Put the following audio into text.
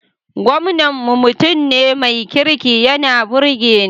Gwamnan mu mutum ne mai kirki yana burge ni